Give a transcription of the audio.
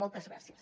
moltes gràcies